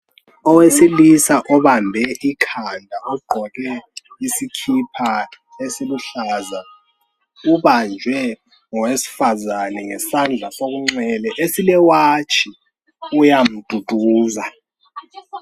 Owesilisa obambe ikhanda ogqoke isikipa esiluhlaza ubanjwe ngowesifazane ngesandla sokunxele esilewatshi uyamduduza.